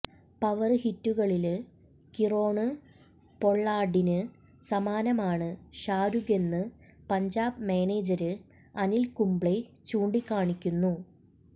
power ഹിറ്റുകളില് Kieron പൊള്ളാര്ഡിന് സമാനമാണ് ഷാരുഖെന്ന് പഞ്ചാബ് മാനേജര് അനില് കുബ്ലെ ചൂണ്ടിക്കാണിക്കുന്നു